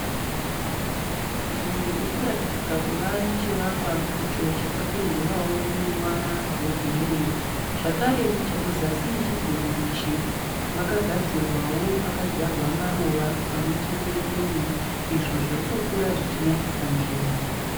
Nzvimbo irikuratidzika kuva nechivakwa icho chakapendewa neruvara rwegireyi, zvakare muzasi mechidziro ichi makagadzirwawo pakadzvarwawo maruva pamwechete ne(lawn) izvo zvirikukura zvichinakisa nzvimbo.